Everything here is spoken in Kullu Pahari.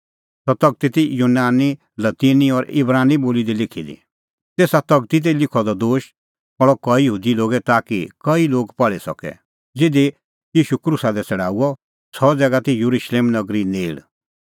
सह तगती ती यूनानी लतीनी और इब्रानी बोली दी लिखी दी तेसा तगती दी लिखअ द दोश पहल़अ कई यहूदी लोगै ताकि कई लोग पहल़ी सके ज़िधी ईशू क्रूसा दी छ़ड़ाऊअ सह ज़ैगा ती येरुशलेम नगरी नेल़